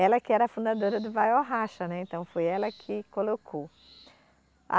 Ela que era a fundadora do ou vai ou Racha né, então foi ela que colocou.